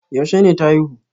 Yaushe ne ta haihu?